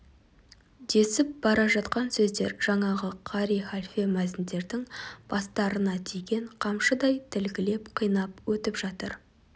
десіп бара жатқан сөздер жаңағы қари халфе мәзіндердің бастарына тиген қамшыдай тілгілеп қинап өтіп жатыр